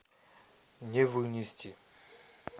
не вынести